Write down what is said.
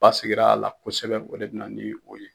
Ba sigira a la kosɛbɛ o de bɛ na ni o ye